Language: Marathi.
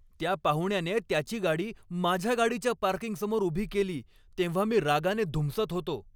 त्या पाहुण्याने त्याची गाडी माझ्या गाडीच्या पार्किंगसमोर उभी केली तेव्हा मी रागाने धुमसत होतो.